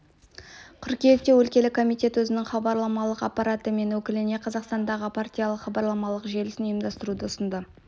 қыркүйекте өлкелік комитет өзінің хабарламалық аппараты мен өкіліне қазақстандағы партиялық-хабарламалық желісін ұйымдастыруды ұсынды